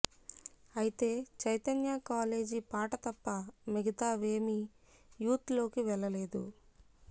అయితే చైతన్య కాలేజి పాట తప్ప మిగతా వేమీ యూత్ లోకి వెళ్లలేదు